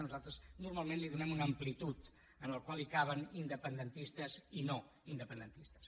nosaltres normalment li donem una amplitud en què hi caben independentistes i no independentistes